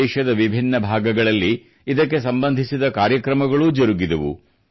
ದೇಶದ ವಿಭಿನ್ನ ಭಾಗಗಳಲ್ಲಿ ಇದಕ್ಕೆ ಸಂಬಂಧಿಸಿದ ಕಾರ್ಯಕ್ರಮಗಳೂ ಜರುಗಿದವು